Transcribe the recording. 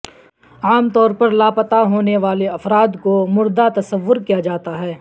عام طور پر لاپتہ ہونے والے افراد کو مردہ تصور کیا جاتا ہے